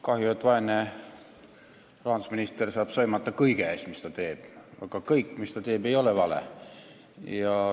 Kahju, et vaene rahandusminister saab sõimata kõige eest, mis ta teeb, kuigi kõik, mis ta teeb, ei ole vale.